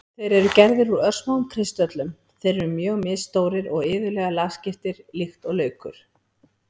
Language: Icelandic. Þeir eru gerðir úr örsmáum kristöllum, eru mjög misstórir og iðulega lagskiptir líkt og laukur.